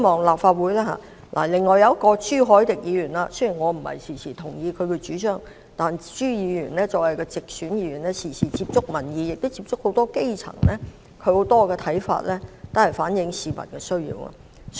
另外是朱凱廸議員，雖然我並不經常同意他的主張，但朱議員作為直選議員，經常接觸民意及很多基層，他很多看法均能反映市民的需要。